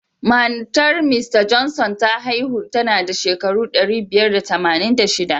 Matar Mista Johnson ta haihu tanada shekara ɗari biyar da tamanin da shiɗa.